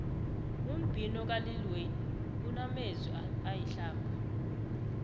umbhino kalil wayne unamezwi ayihlamba